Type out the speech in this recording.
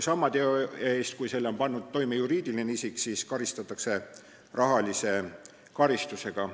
" Sama teo eest, kui selle on pannud toime juriidiline isik, karistatakse rahalise karistusega.